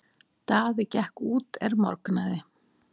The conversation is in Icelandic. Daði gekk út er morgnaði.